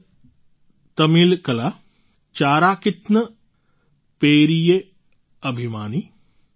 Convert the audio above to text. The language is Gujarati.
નાન તમિલકલા ચારાક્તિન પેરિયે અભિમાની